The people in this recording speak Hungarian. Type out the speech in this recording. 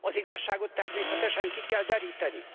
Az igazságot természetesen ki kell deríteni!